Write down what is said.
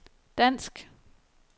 dansk